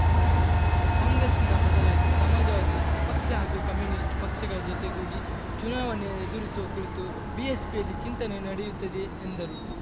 ಕಾಂಗ್ರೆಸ್ಸಿನ ಬದಲಾಗಿ ಸಮಾಜವಾದಿ ಪಕ್ಷ ಹಾಗೂ ಕಮ್ಯುನಿಸ್ಟ್‌ ಪಕ್ಷಗಳ ಜೊತೆಗೂಡಿ ಚುನಾವಣೆ ಎದುರಿಸುವ ಕುರಿತು ಬಿಎಸ್ಪಿಯಲ್ಲಿ ಚಿಂತನೆ ನಡೆಯುತ್ತಿದೆ ಎಂದರು